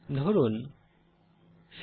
ধরুন 50